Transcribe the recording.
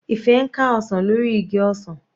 Ife ń ká ọsàn lórí igi ọsàn.